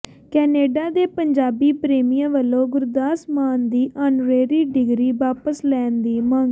Canada ਦੇ ਪੰਜਾਬੀ ਪ੍ਰੇਮੀਆਂ ਵਲੋਂ ਗੁਰਦਾਸ ਮਾਨ ਦੀ ਆਨਰੇਰੀ ਡਿਗਰੀ ਵਾਪਸ ਲੈਣ ਦੀ ਮੰਗ